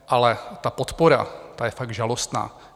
Ale ta podpora, ta je fakt žalostná.